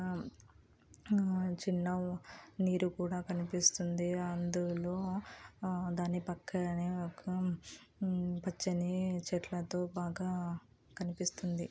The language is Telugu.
ఆ చిన్న నీరు కూడా కనిపస్తుంది అందులో ఆ దాని పక్క నే ఒక పచ్చని చెట్లతో బాగా కనిపిస్తుంది.